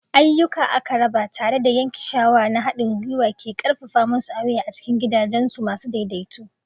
Ayuka aka raba tare da yanke shawara na haɗin gwiwa ke ƙarfafa masu awre a cikin gidaje masu daidaito.